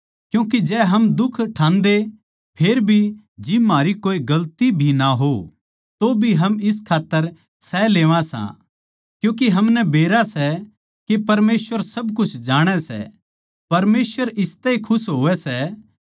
क्यूँके जै हम दुख ठान्दे फेर भी जिब म्हारी कोए गलती भी ना हो तोभी हम इस खात्तर सह लेवां सां क्यूँके हमनै बेरा सै के परमेसवर सब कुछ जाणै सै परमेसवर इसतै ए खुश होवै सै